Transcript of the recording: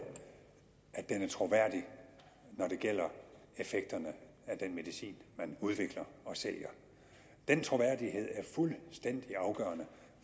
at den er troværdig når det gælder effekterne af den medicin man udvikler og sælger den troværdighed er fuldstændig afgørende